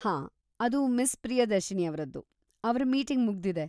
ಹಾ, ಅದು ಮಿಸ್ ಪ್ರಿಯದರ್ಶಿನಿ ಅವ್ರದ್ದು, ಅವ್ರ ಮೀಟಿಂಗ್‌ ಮುಗ್ದಿದೆ.